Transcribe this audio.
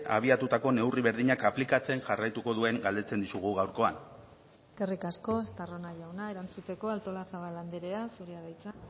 abiatutako neurri berdinak aplikatzen jarraituko duen galdetzen dizugu gaurkoan eskerrik asko estarrona jauna erantzuteko artolazabal andrea zurea da hitza